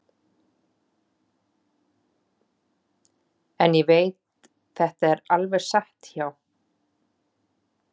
En ég veit þetta er alveg satt hjá